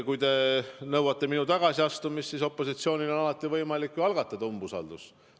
Kui te nõuate minu tagasiastumist, siis opositsioonil on alati võimalik ju algatada umbusalduse avaldamist.